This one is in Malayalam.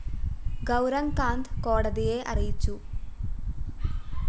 ഗൗരങ് കാന്ത് കോടതിയെ അറിയിച്ചു